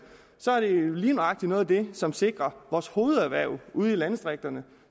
så er det lige nøjagtig noget af det som sikrer vores hovederhverv ude i landdistrikterne